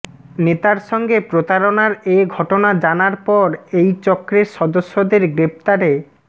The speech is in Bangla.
নেতার সঙ্গে প্রতারণার এ ঘটনা জানার পর এই চক্রের সদস্যদের গ্রেপ্তারে